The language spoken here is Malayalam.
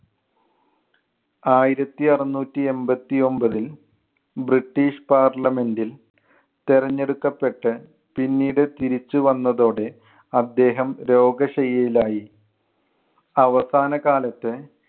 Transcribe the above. ആയിരത്തി അറുനൂറ്റി എൺപത്തി ഒൻപത്തിൽ ബ്രിട്ടീഷ് parliament ൽ തെരഞ്ഞെടുക്കപ്പെട്ട് പിന്നീട് തിരിച്ചു വന്നതോടെ അദ്ദേഹം രോഗശയ്യയിൽ ആയി. അവസാനകാലത്ത്